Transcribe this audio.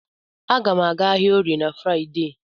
A ga m aga ahịa Orie na Fraịdee.